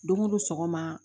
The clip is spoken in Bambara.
Don o don sɔgɔma